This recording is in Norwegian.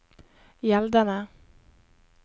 gjeldende